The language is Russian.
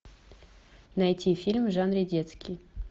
найти фильм в жанре детский